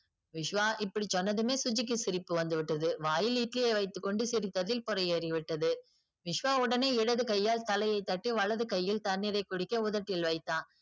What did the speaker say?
விஸ்வா இப்படி சொன்னதுமே சுஜிக்கு சிரிப்பு வந்து விட்டது. வாயில் இட்லியை வைத்து கொண்டு சிரித்தது பொரை ஏறி விட்டது. விஸ்வா உடனே இடது கையால் தலையை தட்டி வலது கையில் தண்ணீரை குடிக்க உதட்டில் வைத்தான்.